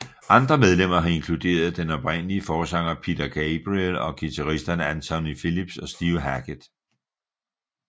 Andre medlemmer har inkluderet den oprindelige forsanger Peter Gabriel og guitaristerne Anthony Phillips og Steve Hackett